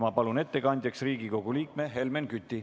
Ma palun ettekandjaks Riigikogu liikme Helmen Küti.